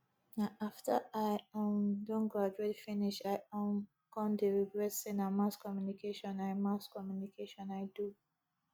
na after i um don graduate finish i um come dey regret say na mass communication i mass communication i do